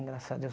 Graças a Deus.